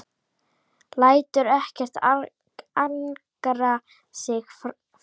Lætur ekkert angra sig framar.